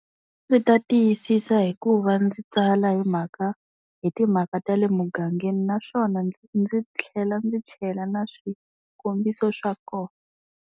Ndzi ta tiyisisa hikuva ndzi tsala hi mhaka hi timhaka ta le mugangeni naswona ndzi tlhela ndzi chela na swikombiso swa kona.